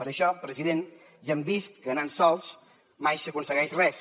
per això president ja hem vist que anant sols mai s’aconsegueix res